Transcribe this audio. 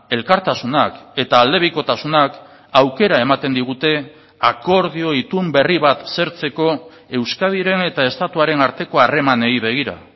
elkartasunak eta aldebikotasunak aukera ematen digute akordio itun berri bat zertzeko euskadiren eta estatuaren arteko harremanei begira